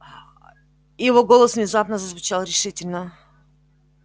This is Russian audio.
его голос внезапно зазвучал решительно